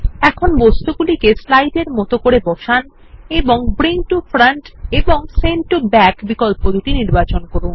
এখন বস্তুগুলিকে স্লাইড এর মত করে বসান এবং ব্রিং টো ফ্রন্ট এবং সেন্ড টো ব্যাক বিকল্প দুটি নির্বাচন করুন